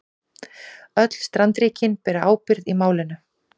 Öll strandríkin beri ábyrgð í málinu